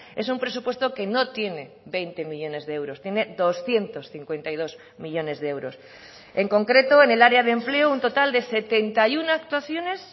es un presupuesto que no tiene veinte millónes de euros tiene doscientos cincuenta y dos millónes de euros en concreto en el área de empleo un total de setenta y uno actuaciones